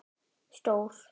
Stór